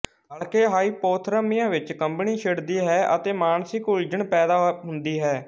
ਹਲਕੇ ਹਾਈਪੋਥਰਮੀਆ ਵਿੱਚ ਕੰਬਣੀ ਛਿੜਦੀ ਹੈ ਅਤੇ ਮਾਨਸਿਕ ਉਲਝਣ ਪੈਦਾ ਹੁੰਦੀ ਹੈ